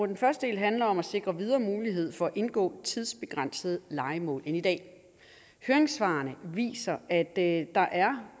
den første del handler om at sikre videre mulighed for at indgå tidsbegrænsede lejemål end i dag høringssvarene viser at der er